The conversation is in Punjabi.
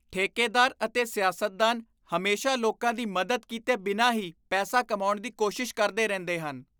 ਠੇਕੇਦਾਰ ਅਤੇ ਸਿਆਸਤਦਾਨ ਹਮੇਸ਼ਾ ਲੋਕਾਂ ਦੀ ਮਦਦ ਕੀਤੇ ਬਿਨਾਂ ਹੀ ਪੈਸਾ ਕਮਾਉਣ ਦੀ ਕੋਸ਼ਿਸ਼ ਕਰਦੇ ਰਹਿੰਦੇ ਹਨ।